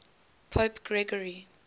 pope gregory